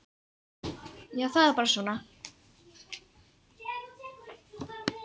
Já, það er bara svona.